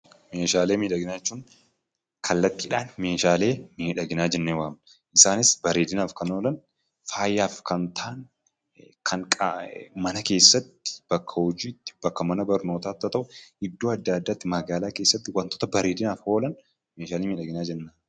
Meeshaalee miidhaginaa jechuun kallattiidhan meeshaalee miidhaginaa jennee waamna. Isaanis bareedinaaf kan oolan, faayaf kan ta'an ,kan mana keessatti, bakka hojiitti, bakka mana barnootatti haa ta'u iddoo adda addaatti magaalaa keessatti wantoota bareedinaaf oolan meeshaalee miidhaginaa jenna.